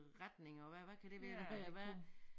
Retning og hvad hvad kan det være øh hvad